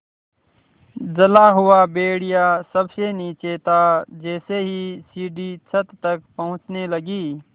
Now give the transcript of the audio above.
जला हुआ भेड़िया सबसे नीचे था जैसे ही सीढ़ी छत तक पहुँचने लगी